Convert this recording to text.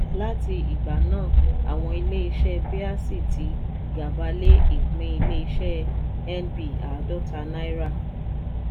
láti ìgbà náà àwọn ilé iṣẹ́ bẹ́àsì tí gàba lé ìpín ilé iṣẹ́ nb àádọ́ta náírà.